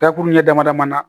Dakuru ɲɛ damadaman na